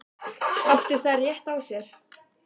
Áttu þær rétt á sér?